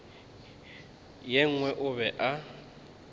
ye nngwe o be a